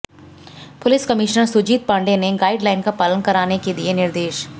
police commissioner Sujit Pandey ने guideline का पालन कराने के दिए निर्देश